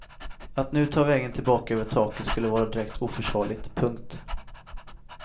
Att nu ta vägen tillbaka över taket skulle vara direkt oförsvarligt. punkt